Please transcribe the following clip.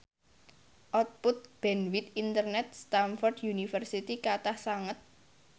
output bandwith internet Stamford University kathah sanget